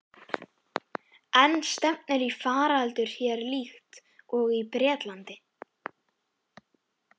En stefnir í faraldur hér líkt og í Bretlandi?